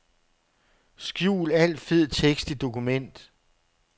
Skjul al fed tekst i dokument.